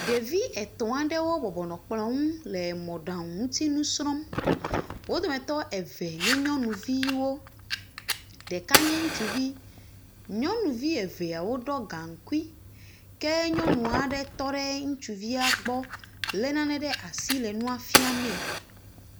Ɖevi etɔ̃ aɖewo bɔbɔnɔ kplɔ ŋu le mɔɖaŋu ŋutinu srɔ̃m, wo dometɔ eve nyɔnuvowo ɖeka nye ŋutsuvi, nyɔnuvi eveawo ɖɔ gaŋkui, ke nyɔnu aɖe tɔ ɖe ŋutsuvia gbɔ lé nane ɖe asi le nua fia mee.